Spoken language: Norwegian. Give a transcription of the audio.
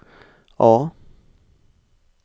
A